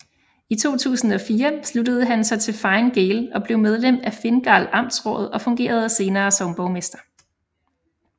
I 2004 sluttede han sig til Fine Gael og blev medlem af Fingal amtsråd og fungerede senere som borgmester